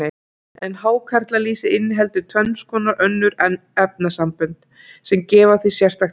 En hákarlalýsið inniheldur tvenns konar önnur efnasambönd, sem gefa því sérstakt gildi.